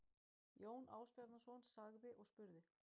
Jón Ásbjarnarson sagði og spurði